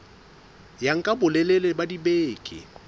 ya nka bolelele ba dibeke